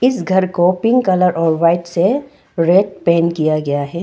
इस घर को पिंक कलर और व्हाइट से रेड पेंट किया गया है।